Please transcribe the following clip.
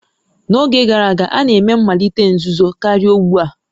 N'oge gara aga, a na-eme mmalite nzuzo karịa ugbu a